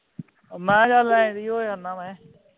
ਮੈਂ ਕਿਹਾ ਹੈ ਦੀ ਹੋ ਜਾਨਾ ਮੈਂ